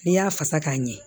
N'i y'a fasa k'a ɲɛ